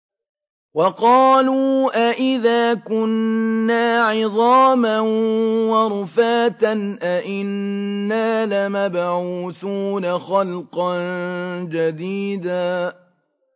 وَقَالُوا أَإِذَا كُنَّا عِظَامًا وَرُفَاتًا أَإِنَّا لَمَبْعُوثُونَ خَلْقًا جَدِيدًا